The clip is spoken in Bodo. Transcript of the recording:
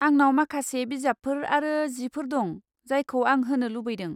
आंनाव माखासे बिजाबफोर आरो जिफोर दं, जायखौ आं होनो लुबैदों।